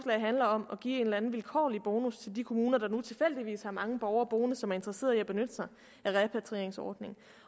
handler om at give en eller anden vilkårlig bonus til de kommuner der nu tilfældigvis har mange borgere boende som er interesseret i at benytte sig af en repatrieringsordning